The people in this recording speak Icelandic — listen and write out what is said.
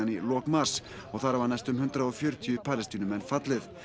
í lok mars og þar hafa næstum hundrað og fjörutíu Palestínumenn fallið